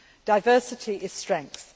Diversity is strength.